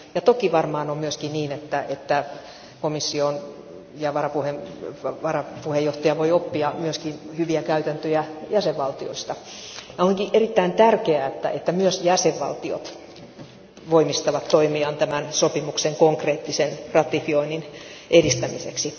Toki varmaan on myöskin niin, että komissio ja varapuheenjohtaja voivat oppia myös hyviä käytäntöjä jäsenvaltioilta. Onkin erittäin tärkeää, että myös jäsenvaltiot voimistavat toimiaan tämän sopimuksen konkreettisen ratifioinnin edistämiseksi.